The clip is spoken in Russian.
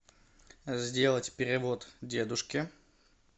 сделать перевод дедушке